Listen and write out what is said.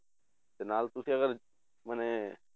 ਤੇ ਨਾਲ ਤੁਸੀਂ ਅਗਰ ਮਨੇ